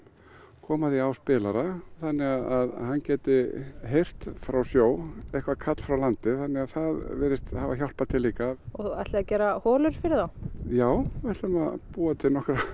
koma því á spilara þannig að hann geti heyrt frá sjó eitthvert kall frá landi það virðist hafa hjálpað líka og ætlið þið að gera holur fyrir þá já við ætlum að búa til